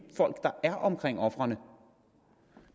folk der er omkring ofrene